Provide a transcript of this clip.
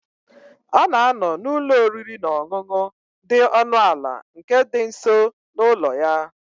Ọ na-anọ n'ụlọ oriri na ọṅụṅụ dị ọnụ ala nke dị nso n'ụlọ ya.